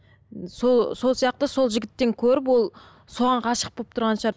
сол сияқты сол жігіттен көріп ол соған ғашық болып тұрған шығар